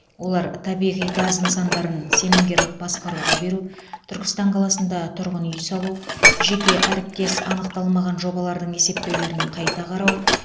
олар табиғи газ нысандарын сенімгерлік басқаруға беру түркістан қаласында тұрғын үй салу жеке әріптес анықталмаған жобалардың есептеулерін қайта қарау